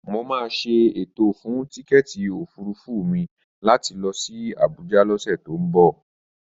Mo máa ṣètò fún tíkẹ́èti òfurufú mi láti lọ sí Abuja lọ́sẹ̀ tó ń bọ̀